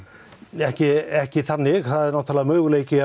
ekki ekki þannig það er náttúrulega möguleiki